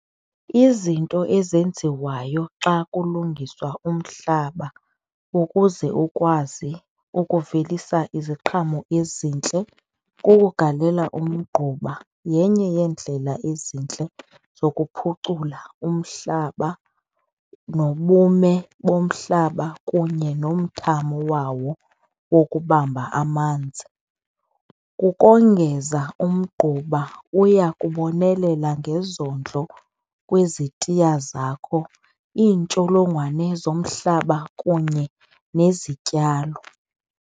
Izinto ezenziwayo xa kulungiswa umhlaba ukuze ukwazi ukuvelisa iziqhamo ezintle kugalela umgquba, yenye yeendlela ezintle zokuphucula umhlaba nobume bomhlaba kunye nomthamo wawo wokubamba amanzi. Kukongeza umgquba uya kubonelela ngezondlo kwezitiya zakho, iintsholongwane zomhlaba kunye nezityalo.